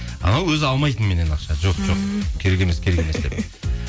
анау өзі алмайтын меннен ақша жоқ жоқ керек емес керек емес деп